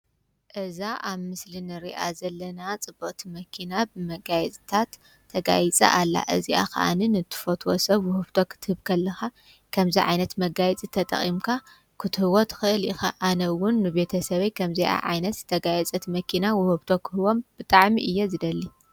እዛ ኣብ ምስልንርኣ ዘለና ጽበት መኪና ብመጋየዝታት ተጋይጸ ኣላ እዚኣ ኸዓንን እትፈትወ ሰብ ውህብቶ ኽትህብክ ኣለኻ ከምዛ ዓይነት መጋይጽ ተ ጠቒምካ ክትህይወት ኽእል ኸ ኣነውን ቤተ ሰበይ ከምዚኣ ዓይነት ተጋየጸት መኪና ውህብቶ ኽህቦም ብጣዕሚ እየ ዝደሊ።